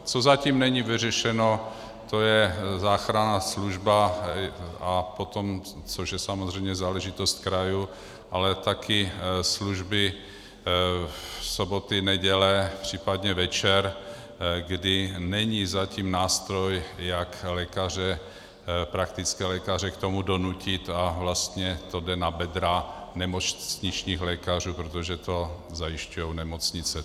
Co zatím není vyřešeno, to je záchranná služba a potom, což je samozřejmě záležitost krajů, ale taky služby, soboty, neděle případně večer, kdy není zatím nástroj, jak praktické lékaře k tomu donutit, a vlastně to jde na bedra nemocničních lékařů, protože to zajišťují nemocnice.